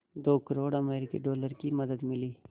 दो करोड़ अमरिकी डॉलर की मदद मिली